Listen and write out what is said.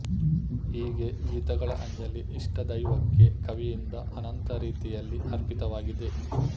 ಹೀಗೆ ಗೀತಗಳ ಅಂಜಲಿ ಇಷ್ಟದೈವಕ್ಕೆ ಕವಿಯಿಂದ ಅನಂತ ರೀತಿಯಲ್ಲಿ ಅರ್ಪಿತವಾಗಿದೆ